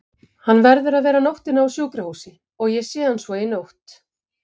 Hann verður að vera nóttina á sjúkrahúsi og ég sé hann svo í nótt.